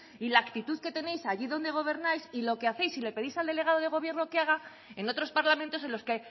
y la actitud que tenéis allí donde gobernáis y lo que hacéis y le pedís al delegado de gobierno que haga en otros parlamentos en los que